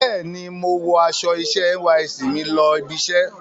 Bẹ́ẹ̀ni, mo wọ aṣọ iṣẹ́ NYSC mi lọ ibiṣẹ́.